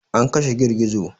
An kashe girgizo.